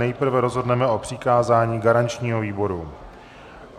Nejprve rozhodneme k přikázání garančnímu výboru.